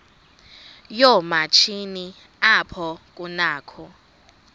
yoomatshini apho kunakho